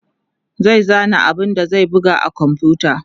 zai zana abun da zai buga a komfuta